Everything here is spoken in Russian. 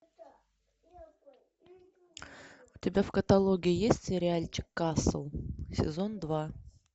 у тебя в каталоге есть сериальчик касл сезон два